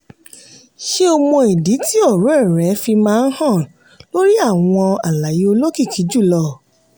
ṣé o mọ ìdí tí ọ̀rẹ́ rẹ fi máa hàn lórí àwọn àlàyé olókìkí jùlọ?